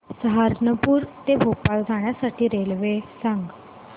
सहारनपुर ते भोपाळ जाण्यासाठी रेल्वे सांग